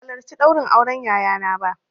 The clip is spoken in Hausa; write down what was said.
Ban halarci ɗaurin auren yayana ba